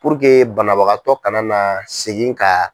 banabagatɔ kana na segin ka.